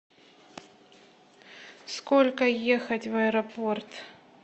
сколько ехать в аэропорт